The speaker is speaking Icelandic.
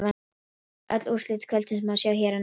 Öll úrslit kvöldsins má sjá hér að neðan